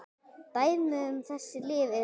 Dæmi um þessi lyf eru